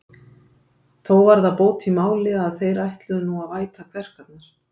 Þó var það bót í máli, að þeir ætluðu nú að væta kverkarnar.